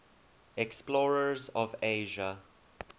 explorers of asia